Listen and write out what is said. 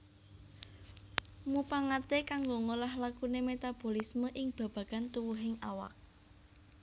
Mupangaté kanggo ngolah lakuné metabolisme ing babagan tuwuhing awak